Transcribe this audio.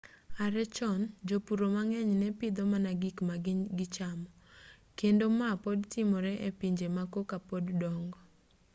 are chon jopuro mang'eny ne pidho mana gik ma gichamo kendo ma pod timore e pinje ma koka pod dongo